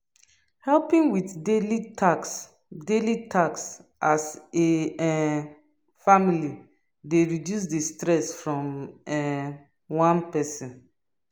Helping with daily taks daily taks as a um family dey reduce di stress from um one person